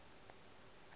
be a sa rate go